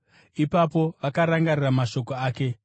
Ipapo vakarangarira mashoko ake.